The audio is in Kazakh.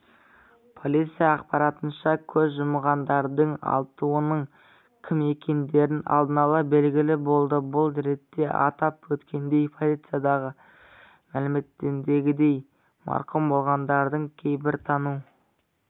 полиция ақпарынша көз жұмғандардың алтауының кім екендері алдын ала белгілі болды бұл ретте атап өткендей полицияда мәлімдегендей марқұм болғандардың кейбірін тану